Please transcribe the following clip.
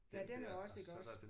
Ja den er også iggås